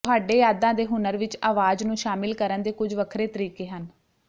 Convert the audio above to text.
ਤੁਹਾਡੇ ਯਾਦਾਂ ਦੇ ਹੁਨਰ ਵਿੱਚ ਆਵਾਜ਼ ਨੂੰ ਸ਼ਾਮਿਲ ਕਰਨ ਦੇ ਕੁਝ ਵੱਖਰੇ ਤਰੀਕੇ ਹਨ